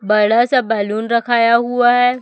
बड़ा सा बैलून रखाया हुआ है।